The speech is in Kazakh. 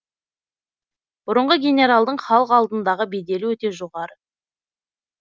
бұрынғы генералдың халық алдындағы беделі өте жоғары